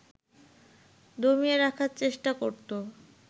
দমিয়ে রাখার চেষ্টা করত